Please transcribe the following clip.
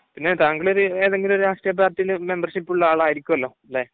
പിന്നെ ഒരു, താങ്കൾ ഏതെങ്കിലും ഒരു രാഷ്ട്രീയ പാർട്ടിയിൽ മെമ്പർഷിപ്പ് ഉള്ള ആൾ ആയിരിക്കുമല്ലോ അല്ലേ?